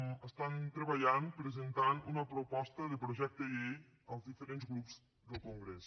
hi estan treballant presentant una proposta de projecte de llei als diferents grups del congrés